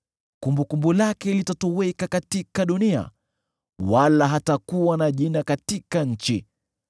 Kumbukumbu lake litatoweka katika dunia, wala hatakuwa na jina katika nchi.